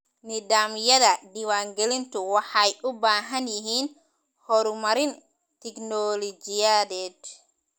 Nidaamyada diiwaangelintu waxay u baahan yihiin horumarin tignoolajiyadeed.